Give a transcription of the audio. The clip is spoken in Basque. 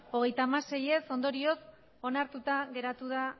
hogeita hamasei ez ondorioz onartuta geratu da